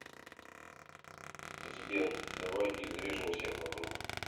сбер давай изрежем всех вокруг